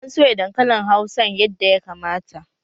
An soya dankalin hausan yadda ya kamata